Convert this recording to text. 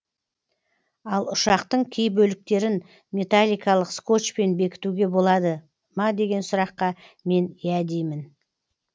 ал ұшақтың кей бөліктерін металликалық скотчпен бекітуге болады ма деген сұраққа мен иә деймін